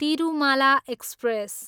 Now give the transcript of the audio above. Tirumala express